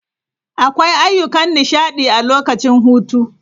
Akwai ayyukan nishaɗi a lokacin hutu.